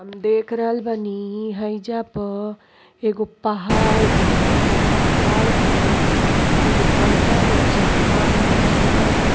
हम देख रहल बानी हइजा पर एगो पहाड़ बिया पहाड़ पर एगो बड़का गो चट्टान नोखिला रंग --